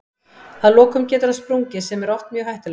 Að lokum getur hann sprungið sem er oft mjög hættulegt.